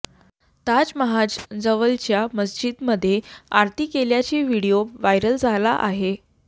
ताजमहाज जवळच्या मस्जिदीमध्ये आरती केल्याची व्हिडीओ व्हायरल झाला आहे